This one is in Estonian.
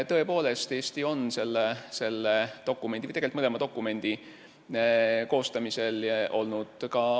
Tõepoolest, Eesti on ka mõlema dokumendi koostamisel osaline olnud ja ...